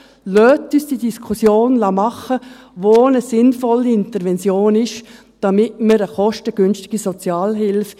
Lassen Sie uns diese Diskussion führen, wo eine sinnvolle Intervention ist, damit wir eine kostengünstige Sozialhilfe …